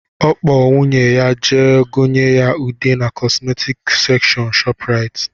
Ọ kpọ nwunye ya jee gonye ya ude na kọsmetics sekshọn ShopRite